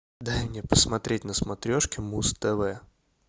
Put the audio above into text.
дай мне посмотреть на смотрешке муз тв